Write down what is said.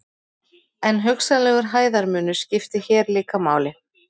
en hugsanlegur hæðarmunur skiptir hér líka máli